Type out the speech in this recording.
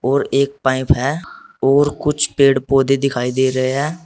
और एक पाइप है और कुछ पेड़ पौधे दिखाई दे रहे हैं।